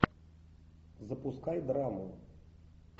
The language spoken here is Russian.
запускай драму